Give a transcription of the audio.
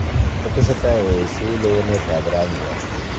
Otesetai oesio leweneet ab rangiat.